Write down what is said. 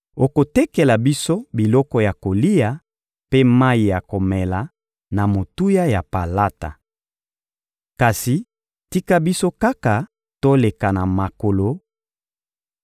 Okotekela biso biloko ya kolia mpe mayi ya komela na motuya ya palata. Kasi tika biso kaka toleka na makolo